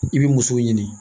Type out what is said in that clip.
I bi muso ɲini